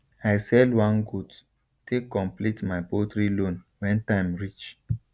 i sell one goat take complete my poultry loan when time reach